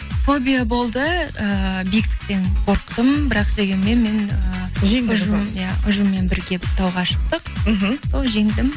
фобия болды ыыы биіктіктен қорықтым бірақ дегенмен мен ы иә ұжыммен бірге біз тауға шықтық мхм сол жеңдім